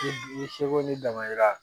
Ni seko n'i damayira